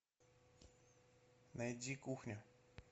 найди кухня